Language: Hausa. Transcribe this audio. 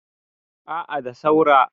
a a da saura